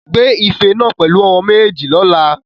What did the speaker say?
Gbé ife náà pẹ̀lú ọwọ́ méjèèjì lọ́la.